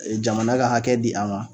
Jamana ka hakɛ di a ma.